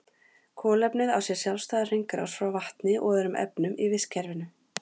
Kolefnið á sér sjálfstæða hringrás frá vatni og öðrum efnum í vistkerfinu.